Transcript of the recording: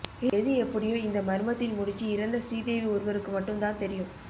எது எப்படியோ இந்த மர்மத்தின் முடிச்சி இறந்த ஸ்ரீதேவி ஒருவருக்கு மட்டும் தான் தெரியும்